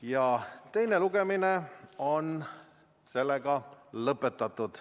Ja teine lugemine ongi lõpetatud.